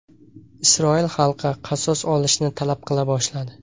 Isroil xalqi qasos olishni talab qila boshladi.